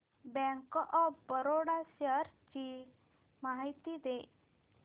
bank of Baroda shares ची माहिती दे